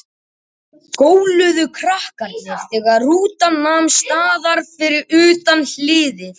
Flest hefur gerst á annan hátt en þá var búist við.